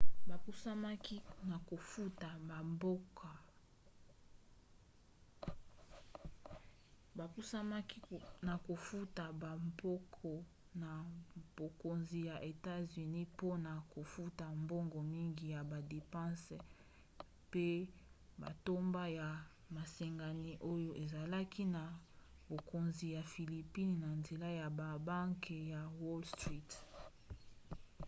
bapusamaki na kofuta bampako na bokonzi ya etats-unis mpona kofuta mbongo mingi ya badepanse pe matomba ya masengami oyo ezalaki na bokonzi ya philippines na nzela ya babanke ya wall street